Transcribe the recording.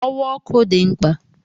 Ọwa ọkụ dị mkpa